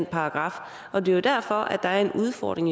paragraf og det er derfor der er en udfordring